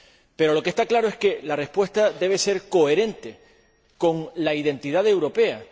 Pero, lo que está claro es que la respuesta debe ser coherente con la identidad europea.